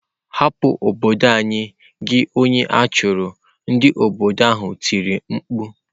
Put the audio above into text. Hapu n'obodo anyi gi onye achuru! Ndị obodo ahụ tiri mkpu.